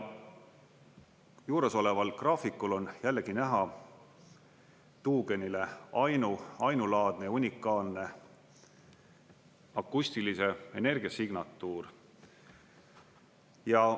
Juuresoleval graafikul on jällegi näha tuugenile ainulaadne unikaalne akustilise energia signatuur.